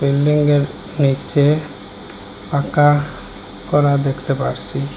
বিল্ডিংয়ের নীচে পাকা করা দেখতে পারছি।